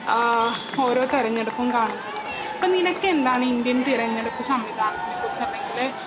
ആ ഓരോ തിരഞ്ഞെടുപ്പും കാണുന്നത്. അപ്പോ നിനക്കെന്താണ് ഈ ഇന്ത്യൻ തിരഞ്ഞെടുപ്പ് സംവിധാനത്തിനെ കുറിച്ച് അല്ലെങ്കില്